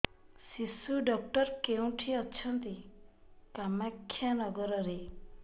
ଶିଶୁ ଡକ୍ଟର କୋଉଠି ଅଛନ୍ତି କାମାକ୍ଷାନଗରରେ